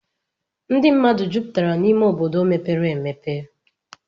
Ndị mmadụ jupụtara n'ime obodo mepere emepe.